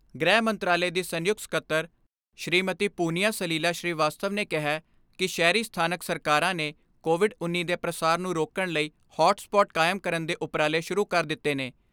ਗ੍ਰਹਿ ਮੰਤਰਾਲੇ ਦੀ ਸੰਯੁਕਤ ਸਕੱਤਰ, ਸ੍ਰੀਮਤੀ ਪੁੰਨਿਆ ਸਲੀਲਾ ਸ੍ਰੀ ਵਾਸਤਵ ਨੇ ਕਿਹੈ ਕਿ ਸ਼ਹਿਰੀ ਸਥਾਨਕ ਸਰਕਾਰਾਂ ਨੇ ਕੋਵਿਡ ਉੱਨੀ ਦੇ ਪ੍ਰਸਾਰ ਨੂੰ ਰੋਕਣ ਲਈ ਹੋਟ ਸਪੋਟ ਕਾਇਮ ਕਰਨ ਦੇ ਉਪਰਾਲੇ ਸ਼ੁਰੂ ਕਰ ਦਿੱਤੇ ਨੇ।